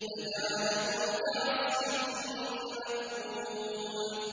فَجَعَلَهُمْ كَعَصْفٍ مَّأْكُولٍ